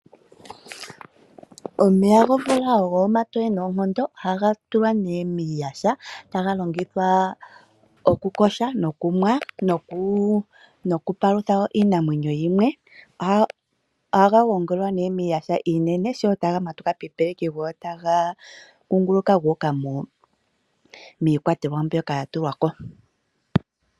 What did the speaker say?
Omeya gomvula ogo omatoye noonkondo. Oha tulwa nee miiyaha taga longithwa okuyoga, okunwa nokupalutha wo iinamwenyo yimwe. Ohaga gongelwa nee miiyaha iinene sho taga matuka piipeleki go otaga kunguluka guuka miikwatelwa mbyoka ya tulwa po.